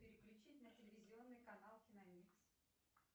переключить на телевизионный канал киномикс